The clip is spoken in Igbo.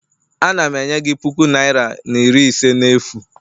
Ana m enye gị puku naira na iri ise n'efu